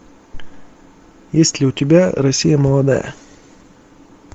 есть ли у тебя россия молодая